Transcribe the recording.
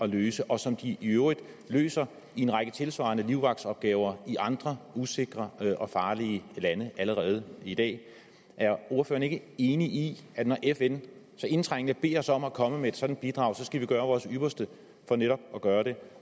løse og som de i øvrigt løser i en række tilsvarende livvagtsopgaver i andre usikre og farlige lande allerede i dag er ordføreren ikke enig i at når fn så indtrængende beder os om at komme med et sådant bidrag skal vi gøre vores ypperste for netop at gøre det